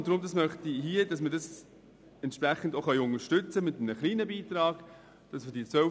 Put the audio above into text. Deshalb möchte ich, dass wir ihre Vorhaben mit einem kleinen Beitrag unterstützen.